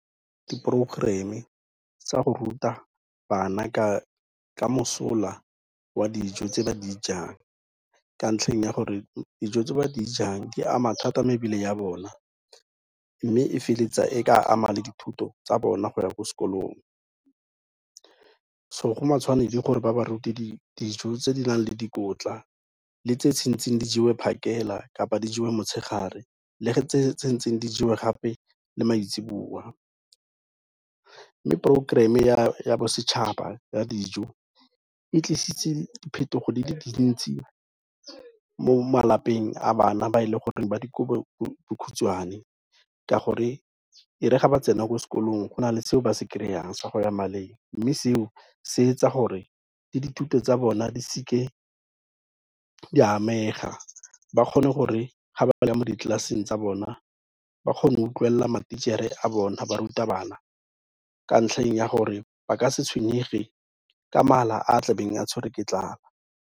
Di-programme tsa go ruta bana ka mosola wa dijo tse ba di jang ka ntlheng ya gore, dijo tse ba di jang di ama thata mebele ya bona mme e feleletsa e ka ama le dithuto tsa bona go ya ko sekolong, so go matshwanedi gore ba ba rute dijo tse di nang le dikotla le tse tshwantseng di jewe phakela kapa di jewe motshegare, le tse tshwantseng di jewe gape le maitseboa, mme progerama ya bosetšhaba ya dijo e tlisitse diphetogo di le dintsi mo malapeng a bana ba e leng gore ba dikobodikhutswane ka gore e re ga ba tsena ko sekolong go na le seo ba se kry-ang sa go ya maleng, mme seo se etsa gore le dithuto tsa bona di seke di a amega, ba kgone gore ga ba ya mo di-class-eng tsa bona ba kgone utlwelela ma-teacher-e a bona barutabana ka ntlheng ya gore ba ka se tshwenyege ka mala a tlebeng a tshwere ke tlala.